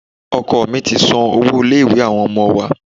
Oko mí ti san owó ilé-ìwé àwọn ọmọ wa.